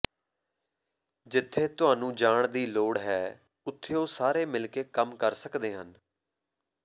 ਜਿੱਥੇ ਤੁਹਾਨੂੰ ਜਾਣ ਦੀ ਲੋੜ ਹੈ ਉੱਥੇ ਉਹ ਸਾਰੇ ਮਿਲ ਕੇ ਕੰਮ ਕਰ ਸਕਦੇ ਹਨ